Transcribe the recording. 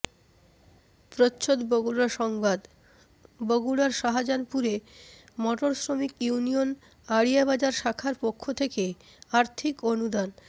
প্রচ্ছদ বগুড়া সংবাদ বগুড়ার শাজাহানপুরে মটর শ্রমিক ইউনিয়ন আড়িয়া বাজার শাখার পক্ষ থেকে আর্থিক অনুদান